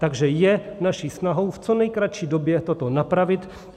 Takže je naší snahou v co nejkratší době toto napravit.